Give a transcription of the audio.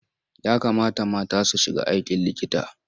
Ya kamata mata su shiga aikin likita.